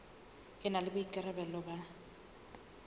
e na le boikarabelo ba